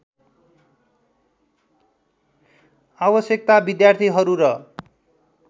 आवश्यकता विद्यार्थीहरू र